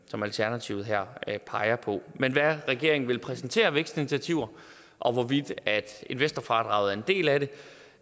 som alternativet her peger på men hvad regeringen vil præsentere af vækstinitiativer og hvorvidt investorfradraget er en del af